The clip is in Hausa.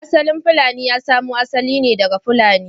Asalin fulani ya samo asali ne daga Fulani.